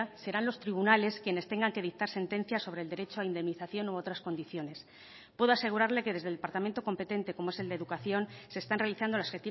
serán los tribunales quienes tengan que dictar sentencia sobre el derecho a indemnización u otras condiciones puedo asegurarle que desde el departamento competente como es el de educación se están realizando las